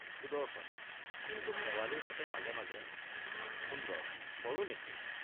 সুদৰ্শন—কিন্তু শেৱালিৰ সতে মাজে মাজে— সুন্দৰ—কৰোনে কি?